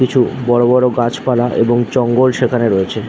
কিছু বড় বড় গাছপালা এবং জঙ্গল সেখানে রয়েছে।